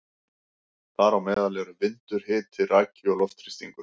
Þar á meðal eru vindur, hiti, raki og loftþrýstingur.